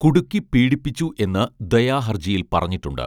കുടുക്കി പീഡിപ്പിച്ചു എന്ന് ദയാ ഹർജിയിൽ പറഞ്ഞിട്ടുണ്ട്